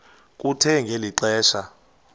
kuthe ngeli xesha